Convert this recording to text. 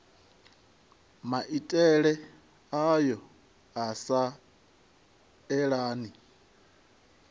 maitele ayo a sa elani